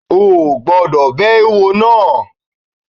O kò gbọ́dọ̀ bẹ eéwo náà!